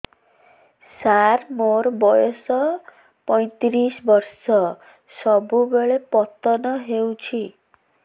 ସାର ମୋର ବୟସ ପୈତିରିଶ ବର୍ଷ ସବୁବେଳେ ପତନ ହେଉଛି